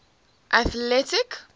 atlantic